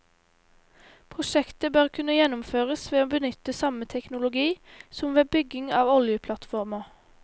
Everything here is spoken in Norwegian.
Prosjektet bør kunne gjennomføres ved å benytte samme teknologi som ved bygging av oljeplattformer.